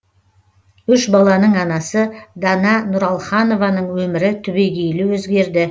үш баланың анасы дана нұралханованың өмірі түбегейлі өзгерді